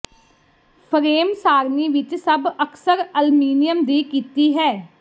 frame ਸਾਰਣੀ ਵਿੱਚ ਸਭ ਅਕਸਰ ਅਲਮੀਨੀਅਮ ਦੀ ਕੀਤੀ ਹੈ